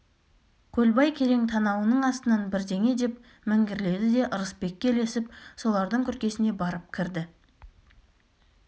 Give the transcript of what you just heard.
көлбай керең танауының астынан бірдеңе деп міңгірледі де ырысбекке ілесіп солардың күркесіне барып кірді